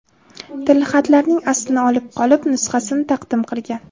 tilxatlarning aslini olib qolib, nusxasini taqdim qilgan.